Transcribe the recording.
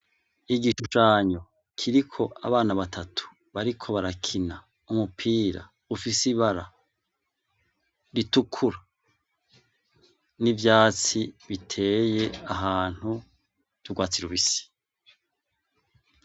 Igishushanyo kiriko abana batatu bariko barakina umupira ufise ibara ritukura n'ivyatsi biteye ahantu vy'urwatsi rubisi.